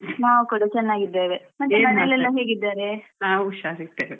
ನಾವ್ ಕೂಡ ಚೆನ್ನಾಗಿದ್ದೇವೆ ಮತ್ತೆ ಮನೆಯಲೆಲ್ಲ ಹೇಗಿದ್ದಾರೆ?